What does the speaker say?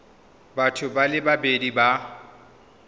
batho ba le babedi ba